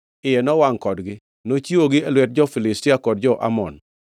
iye nowangʼ kodgi. Nochiwogi e lwet jo-Filistia kod jo-Amon,